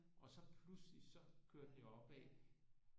Og så pludselig så kørte det opad